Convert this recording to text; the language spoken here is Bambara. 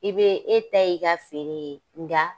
I bee e ta y'i ka feere ye, nka